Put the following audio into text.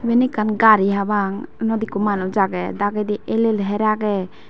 yen ekkan gari habang yanot ekko manuch agey dagendi el el her agey.